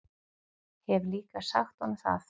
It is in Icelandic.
Hef líka sagt honum það.